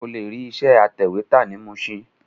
O lè rí ilé iṣẹ́ atẹ̀wẹ́tà ní Mushin